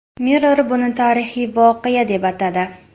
Mirror buni tarixiy voqea, deb atadi .